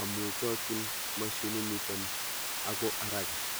ak eng haraka